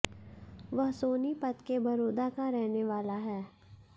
वह सोनीपत के बरोदा का रहने वाला है